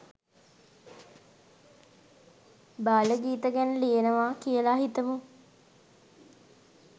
බාල ගීත ගැන ලියනවා කියල හිතමු.